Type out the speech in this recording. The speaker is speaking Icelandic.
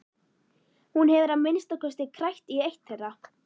Hún hefur að minnsta kosti krækt í eitt þeirra.